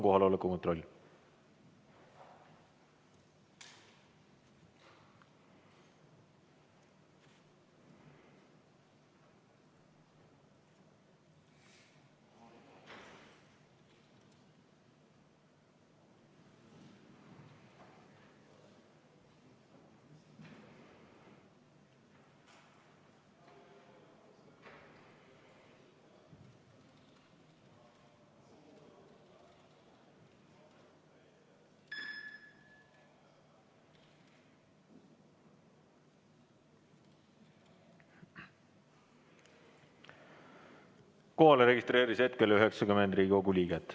Kohalolijaks registreerus hetkel 90 Riigikogu liiget.